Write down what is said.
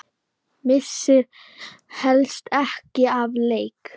Missir helst ekki af leik.